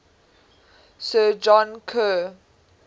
sir john kerr